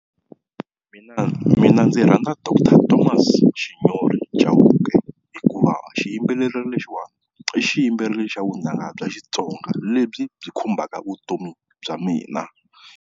Miina, mina ndzi rhandza doctor Thomas Shinyori Chauke, hikuva xiyimbeleri lexiwani i xiyimbeleri xa vunanga bya Xitsonga lebyi byi khumbaka vutomi bya mina.